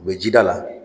U bɛ ji da la